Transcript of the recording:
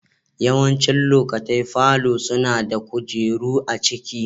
Yawancin lokatai falo suna da kujeru a cikin.